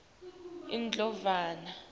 indlovana